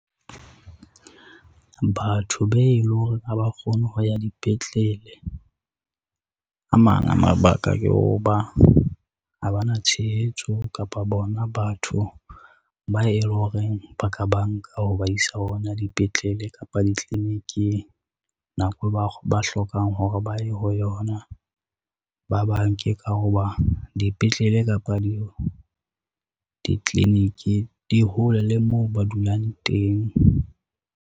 Batho be le hore ha ba kgone ho ya dipetlele, a mang a mabaka ke ho ba ha ba na tshehetso kapa bona batho ba e loreng ba ka banka ho ba isa ona dipetlele kapa ditliliniking, nako ba hlokang hore ba ye ho yona ba banke ka ho ba dipetlele kapa ditliliniki di hole le moo ba dulang teng.